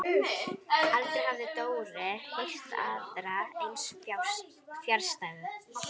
Aldrei hafði Dóri heyrt aðra eins fjarstæðu.